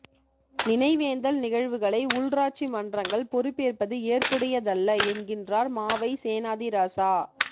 நினைவேந்தல் நிகழ்வுகளை உள்ராட்சி மன்றங்கள் பொறுப்பேற்பது ஏற்புடையதல்ல என்கின்றார் மாவை சேனாதிராசா